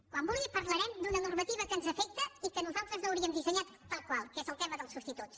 quan vulgui parlarem d’una normativa que ens afecta i que nosaltres no hauríem dissenyat tal qual que és el tema dels substituts